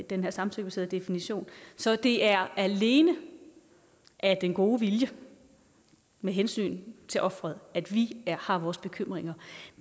den her samtykkebaserede definition så det er alene af den gode vilje med hensyn til ofret at vi har vores bekymringer